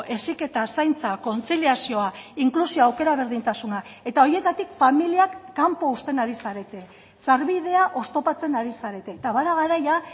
heziketa zaintza kontziliazioa inklusioa aukera berdintasuna eta horietatik familiak kanpo uzten ari zarete sarbidea oztopatzen ari zarete eta bada garaia